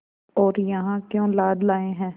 और यहाँ क्यों लाद लाए हैं